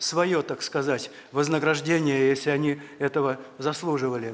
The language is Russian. своё так сказать вознаграждение если они этого заслуживали